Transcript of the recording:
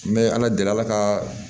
N bɛ ala deli ala ka